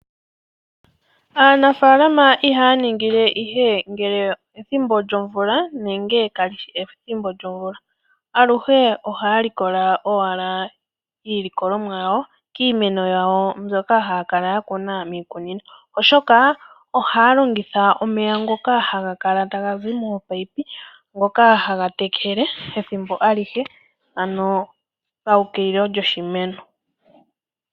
Aanafaalama ihaya ningile ihe ngele ethimbo lyomvula nenge ka li shi ethimbo lyomvula. Aluhe ohaya likola owala iilikolomwa yawo kiimeno yawo mbyoka haya kala ya kuna miikunino, oshoka ohaya longitha omeya ngoka ha ga kala ta ha zi mominino, ngoka ha ga tekele ethimbo alihe ano paukililo lyoshimeno.